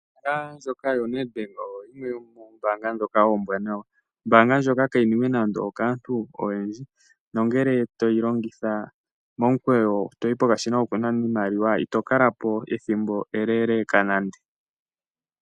Ombanga ndjoka yoNedbank oyo yimwe yomoombanga dhoka ombwanawa. Ombanga ndjoka kayi niwe nando okaantu oyendji. Nongele toyi longitha momukweyo toyi pokashina koku nana iimaliwa ito kala po ethimbo eleleka nande.